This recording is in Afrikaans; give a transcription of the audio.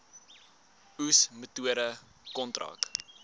oes metode kontrak